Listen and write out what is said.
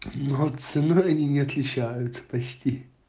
и вот ценой они не отличаются почти